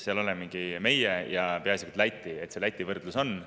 olemegi meie ja peaasjalikult Läti.